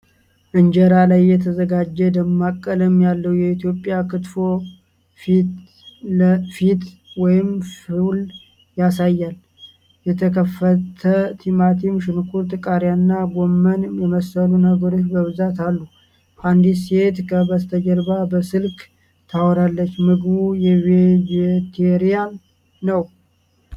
እንጀራ ላይ የተዘጋጀ ደማቅ ቀለም ያለው የኢትዮጵያ ክትፎ ፈትፈት ወይም ፉል ያሳያል። የተከተፈ ቲማቲም፣ ሽንኩርት፣ ቃሪያ እና ጎመን የመሰሉ ነገሮች በብዛት አሉ። አንዲት ሴት ከበስተጀርባ በስልክ ታወራለች። ምግቡ የቬጀቴሪያን ነው?